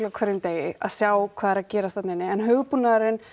á hverjum degi að sjá hvað er að gerast þarna inni en hugbúnaðurinn